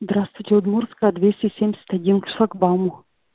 здравствуйте удмуртская двести семьдесят один к шлагбауму